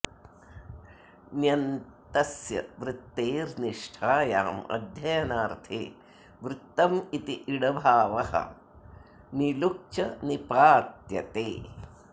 ण्यन्तस्य वृत्तेर् निष्ठायाम् अध्ययनार्थे वृत्तम् इति इडभावः णिलुक् च निपात्यते